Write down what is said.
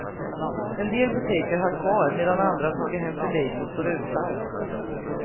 En del butiker har kvar, medan andra har tagit hem för lite och står utan.